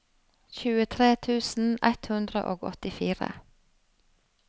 tjuetre tusen ett hundre og åttifire